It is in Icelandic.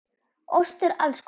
Ostur alls konar.